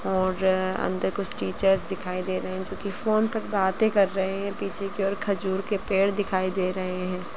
और अंदर कुछ टीचर्स दिखाई दे रहे हैं जो की फ़ोन पर बातें कर रहे हैं पीछे की और खजूर के पेड़ दिखाई दे रहे हैं।